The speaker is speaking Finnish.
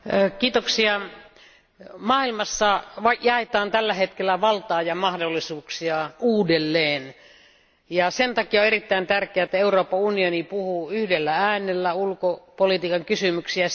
Arvoisa puhemies, maailmassa jaetaan tällä hetkellä valtaa ja mahdollisuuksia uudelleen. Sen takia on erittäin tärkeää, että Euroopan unioni puhuu yhdellä äänellä ulkopolitiikan kysymyksissä.